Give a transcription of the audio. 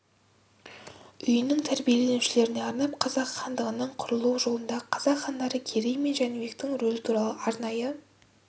үйінің тәрбиленушілеріне арнап қазақ хандығының құрылу жолындағы қазақ хандары керей мен жәнібектің рөлі туралы арнайы